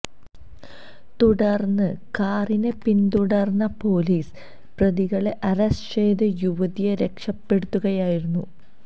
തുടർന്ന് കാറിനെ പിന്തുടര്ന്ന പൊലീസ് പ്രതികളെ അറസ്റ്റ് ചെയ്ത് യുവതിയെ രക്ഷപ്പെടുത്തുകയായിരുന്നു